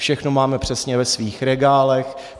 Všechno máme přesně ve svých regálech.